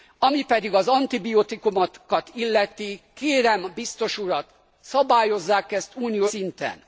Ami pedig az antibiotikumokat illeti, kérem a biztos urat, szabályozzák ezt uniós szinten.